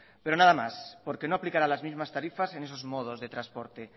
pero nada más porque no aplicará las mismas tarifas en esos modos de transporte